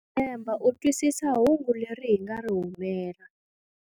Ndza tshemba u twisisa hungu leri hi nga ri rhumela.